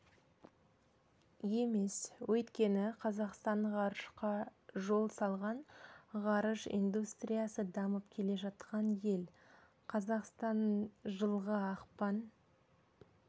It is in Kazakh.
емес өйткені қазақстан ғарышқа жол салған ғарыш индустриясы дамып келе жатқан ел қазақстан жылғы ақпан